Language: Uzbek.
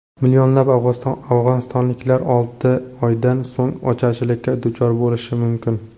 Millionlab afg‘onistonliklar olti oydan so‘ng ocharchilikka duchor bo‘lishi mumkin.